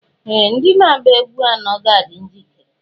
Ee! ndị na-agba egwú anọ ga-adị njikere